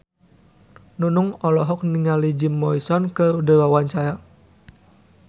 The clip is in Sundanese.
Nunung olohok ningali Jim Morrison keur diwawancara